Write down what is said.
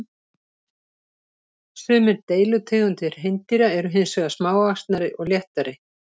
Sumir deilitegundir hreindýra eru hins vegar smávaxnari og léttari.